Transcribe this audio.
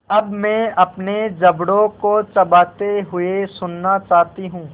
अब मैं अपने जबड़ों को चबाते हुए सुनना चाहती हूँ